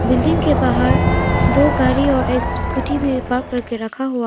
building के बाहर दो गाड़ी और एक स्कूटी भी पार्क करके रखा हुआ--